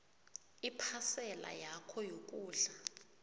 iphasela yakho yokudla